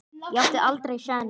Ég átti aldrei séns.